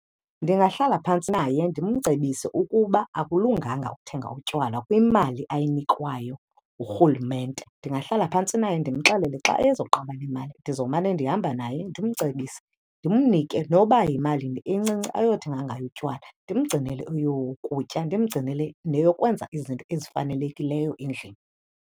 Ndingahlala phantsi naye, ndimcebise ukuba akulunganga ukuthenga utywala kwimali ayinikwayo ngurhulumente. Ndingahlala phantsi naye ndimxelele, xa ezoqaba nemali, ndizomana ndihamba naye ndimcebise. Ndimnike noba yimalini encinci ayothenga ngayo utywala ndimgcinele eyokutya, ndimgcinele neyokwenza izinto ezifanelekileyo endlini.